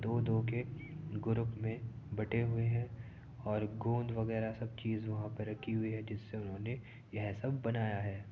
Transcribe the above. दो दो के ग्रुप में बंटे हुए हैं और गोंद वगैरा सब चीज़ वहाँ पर रखी हुई है जिससे उन्होंने यह सब बनाया है।